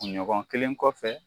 Kun ɲɔgɔn kelen kɔfɛ